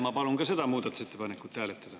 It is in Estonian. Ma palun ka seda muudatusettepanekut hääletada.